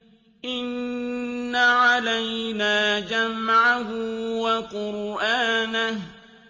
إِنَّ عَلَيْنَا جَمْعَهُ وَقُرْآنَهُ